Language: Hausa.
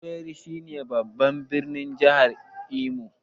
Owerri shi ne babban birnin jahar Imo